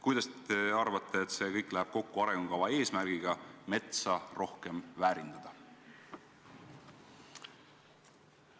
Kuidas see kõik läheb teie arvates kokku arengukava eesmärgiga metsa rohkem väärindada?